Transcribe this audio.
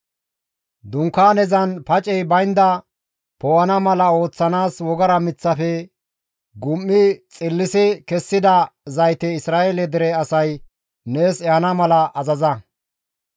«Dunkaanezan pacey baynda poo7ana mala ooththanaas wogara miththafe gum7i xillisi kessida zayte Isra7eele dere asay nees ehana mala azaza.